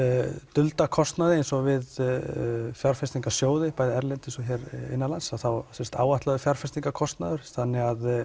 dulda kostnaði eins og við fjárfestingarsjóði bæði erlendis og hér á landi þá áætlaður fjárfestingarkostnaður þannig að